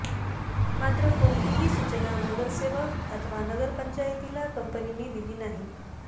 मात्र कोणतीही सूचना नगरसेवक अथवा नगरपंचायतीला कंपनीने दिली नाही